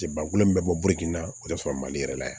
Jaaba kulon min bɛ bɔ biriki in na o de sɔrɔ mali yɛrɛ la yan